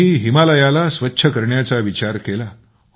तुम्ही हिमालयाला स्वच्छ करण्याचा विचार केला